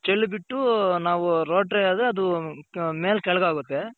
ಅದು ಚೆಲ್ ಬಿಟ್ಟು ನಾವು ದೆ ಅದು ಮೆಲ್ ಕೆಳ್ಗ್ ಆಗುತ್ತೆ.